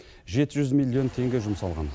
жеті жүз миллион теңге жұмсалған